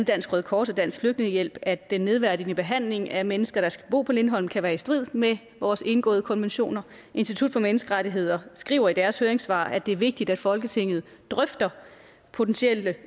dansk røde kors og dansk flygtningehjælp at den nedværdigende behandling af mennesker der skal bo på lindholm kan være i strid med vores indgåede konventioner institut for menneskerettigheder skriver i deres høringssvar at det er vigtigt at folketinget drøfter potentielle